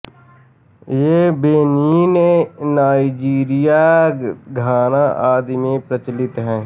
ये Benin Nigeria Ghana आदि में प्रचलित हैं